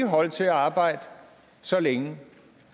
holde til at arbejde så længe